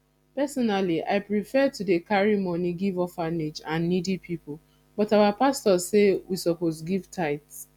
personally i prefer to dey carry money give orphanage and needy people but our pastor say we suppose give tithe